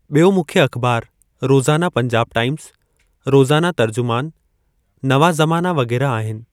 ॿियो मुख्य अख़बार रोज़ाना पंजाब टाइमज़, रोज़ाना तर्जुमानु, नवां ज़माना वग़ेरह आहिनि।